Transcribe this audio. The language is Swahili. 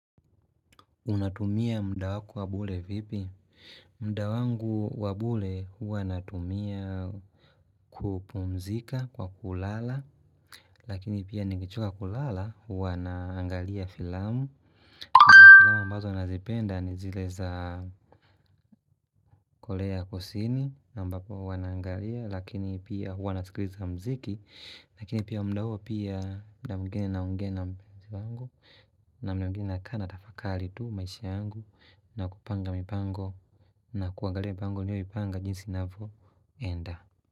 Unatumia mdawako wabule vipi? Mdawangu wabule huwa natumia kupumzika kwa kulala. Lakini pia nigijua kulala huwa naangalia filamu Kwa filamu ambazo nazipenda ni zileza. Kole ya kusini Nambapo huwa naangalia lakini pia huwa nasikriza mziki. Lakini pia mdawo pia na mgini na unge na mdawangu na mgini na kana tafakali tu maishi angu na kupanga mipango na kuangale mipango niyo mipanga jinsi nafo enda.